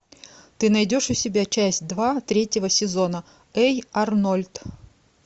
ты найдешь у себя часть два третьего сезона эй арнольд